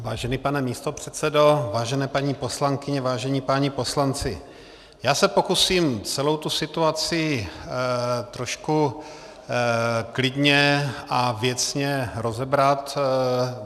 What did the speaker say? Vážený pane místopředsedo, vážené paní poslankyně, vážení páni poslanci, já se pokusím celou tu situaci trošku klidně a věcně rozebrat.